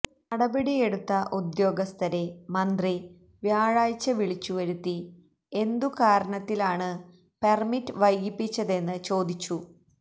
നടപടിയെടുത്ത ഉദ്യോഗസ്ഥരെ മന്ത്രി വ്യാഴാഴ്ച വിളിച്ചുവരുത്തി എന്തു കാരണത്തിലാണ് പെർമിറ്റ് വൈകിപ്പിച്ചതെന്ന് ചോദിച്ചു